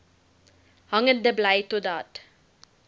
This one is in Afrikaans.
hangende bly totdat